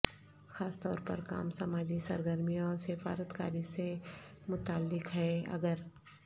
خاص طور پر کام سماجی سرگرمیوں اور سفارت کاری سے متعلق ہے اگر